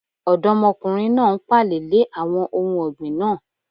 Ọ̀dọ́mọkùnrin náà n pààlẹ̀ lè àwọn ohun ọ̀gbìn náà